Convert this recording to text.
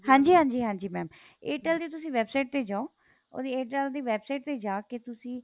ਹਾਂਜੀ ਹਾਂਜੀ ਹਾਂਜੀ mam Airtel ਦੇ ਤੁਸੀਂ website ਤੇ ਜਾਓ ਉਹਦੀ Airtel ਦੀ website ਤੇ ਜਾ ਕੇ ਤੁਸੀਂ